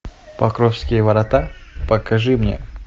покровские ворота покажи мне